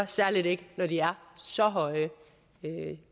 særligt ikke når de er så høje